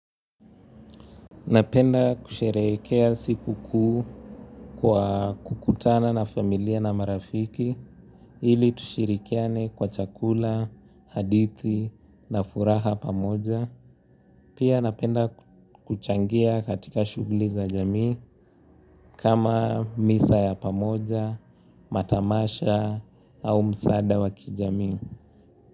Napenda kusherehekea siku kuu kwa kukutana na familia na marafiki ili tushirikiane kwa chakula, hadithi na furaha pamoja. Pia napenda kuchangia katika shughuli za jamii kama misa ya pamoja, matamasha au msaada wa kijamii.